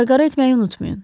Qarğara etməyi unutmayın.